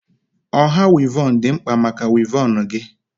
Ọha wivon dị mkpa maka wivon gị